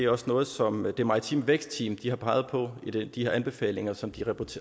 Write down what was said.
også noget som det maritime vækstteam har peget på i de anbefalinger som de